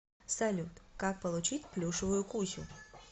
салют как получить плюшевую кусю